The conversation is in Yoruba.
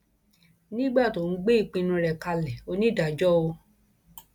nígbà tó ń ń gbé ìpinnu rẹ kalẹ onídàájọ o